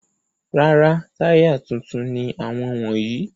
Rárá, táyà tuntun ni àwọn wọ̀nyí.